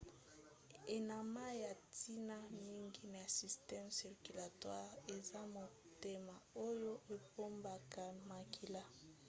enama ya ntina mingi na systeme circulatoire eza motema oyo epompaka makila